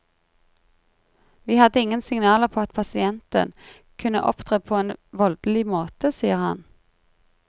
Vi hadde ingen signaler på at pasienten kunne opptre på en voldelig måte, sier han.